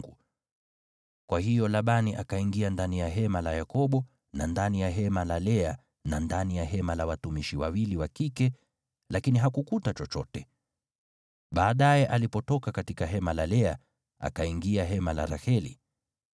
Kwa hiyo Labani akaingia ndani ya hema la Yakobo na ndani ya hema la Lea na ndani ya hema la watumishi wawili wa kike, lakini hakukuta chochote. Baadaye alipotoka katika hema la Lea, akaingia hema la Raheli.